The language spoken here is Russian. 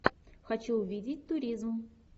хочу увидеть туризм